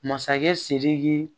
Masakɛ sidiki